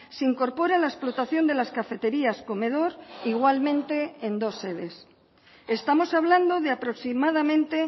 se incorpora la explotación de las cafeterías comedor igualmente en dos sedes estamos hablando de aproximadamente